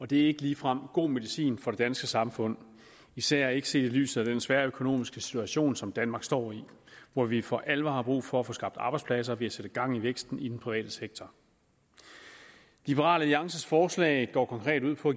det er ikke ligefrem god medicin for det danske samfund især ikke set i lyset af den svære økonomiske situation som danmark står i hvor vi for alvor har brug for at få skabt arbejdspladser ved at sætte gang i væksten i den private sektor liberal alliances forslag går konkret ud på